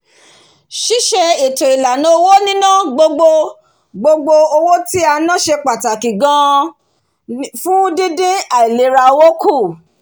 síse ètò-ìlànà owó níná gbogbo gbogbo owó tí a ná ṣe pàtàkì gan-an fún dín dín àìlera owó kù